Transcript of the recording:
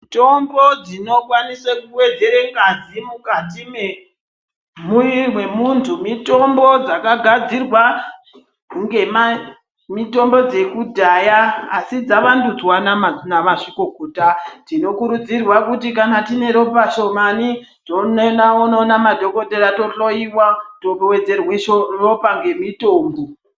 Mitombo dzinokwanise kuvedzere ngazi mukati memuviri memuntu. Mitombo dzakagadzirwa ngemamitombo dzekudhaya asi dzavandudzwa namazvikokota. Tinokurudzirwa kuti kana tine ropa shomani tonoona madhogodheya tohloiwa tovedzerwa ropa ngemitombo.